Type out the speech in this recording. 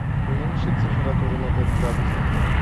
уменьшить температуру на пять градусов